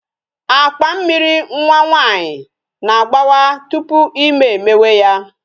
Akpa Mmịrị nwa nwaanyị na-agbawa tupu ime emewe ya